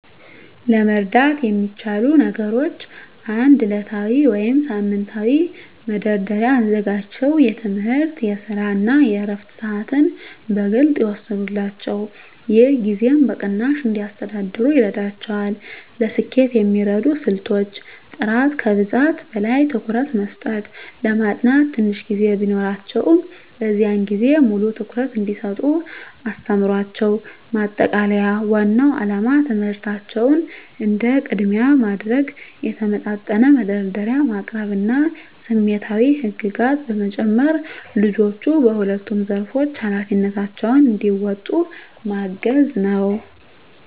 ለመርዳት የሚቻሉ ነገሮች 1. ዕለታዊ ወይም ሳምንታዊ መደርደሪያ አዘጋጅተው የትምህርት፣ የስራ እና የዕረፍት ሰዓትን በግልፅ ይወስኑላቸው። ይህ ጊዜን በቅናሽ እንዲያስተዳድሩ ይረዳቸዋል። ለስኬት የሚረዱ ስልቶች · ጥራት ከብዛት በላይ ትኩረት መስጠት ለማጥናት ትንሽ ጊዜ ቢኖራቸውም፣ በዚያን ጊዜ ሙሉ ትኩረት እንዲሰጡ አስተምሯቸው። ማጠቃለያ ዋናው ዓላማ ትምህርታቸውን እንደ ቅድሚያ ማድረግ፣ የተመጣጠነ መደርደሪያ ማቅረብ እና ስሜታዊ ህግጋት በመጨመር ልጆቹ በሁለቱም ዘርፎች ኃላፊነታቸውን እንዲወጡ ማገዝ ነው።